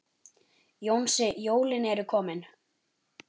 Jónsi, jólin eru komin.